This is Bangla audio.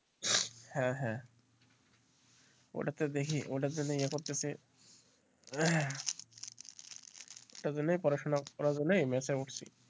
হ্যাঁ হ্যাঁ ওটাতে দেখি ওটাতে আমি ইয়ে করতেছি ওটার জন্যই পড়াশোনা ওটার জন্যই করছি।